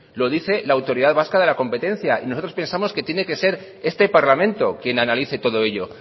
lo dice la autoridad vasca de la competencia y nosotros pensamos que tiene que ser este parlamento quien analice todo ello